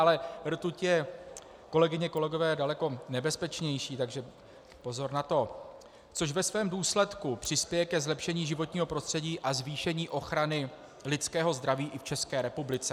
Ale rtuť je, kolegyně, kolegové, daleko nebezpečnější, takže pozor na to, což ve svém důsledku přispěje ke zlepšení životního prostředí a zvýšení ochrany lidského zdraví i v České republice.